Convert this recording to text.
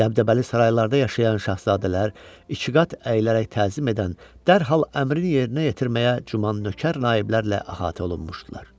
Dəbdəbəli saraylarda yaşayan şahzadələr ikiqat əyilərək təzim edən, dərhal əmrin yerinə yetirməyə cuman nökər naiblərlə əhatə olunmuşdular.